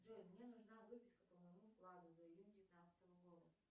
джой мне нужна выписка по моему вкладу за июнь девятнадцатого года